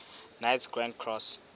knights grand cross